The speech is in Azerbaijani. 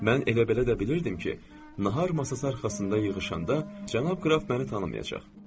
Mən elə belə də bilirdim ki, nahar masası arxasında yığışanda cənab qraf məni tanımayacaq.